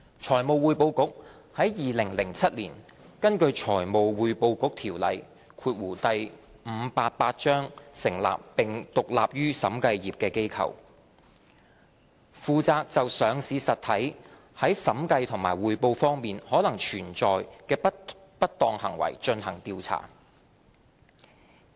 財務匯報局是在2007年根據《財務匯報局條例》成立並獨立於審計業的機構，負責就上市實體在審計和匯報方面可能存在的不當行為進行調查。